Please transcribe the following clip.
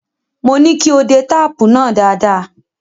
Mo ní kí o de táàpù náà dáadáa.